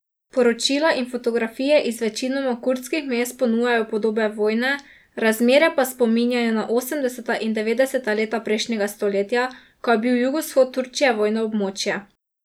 Poročila in fotografije iz večinoma kurdskih mest ponujajo podobe vojne, razmere pa spominjajo na osemdeseta in devetdeseta leta prejšnjega stoletja, ko je bil jugovzhod Turčije vojno območje.